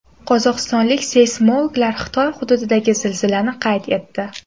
Qozog‘istonlik seysmologlar Xitoy hududidagi zilzilani qayd etdi.